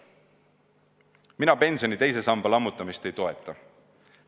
Mina pensioni teise samba lammutamist ei toeta.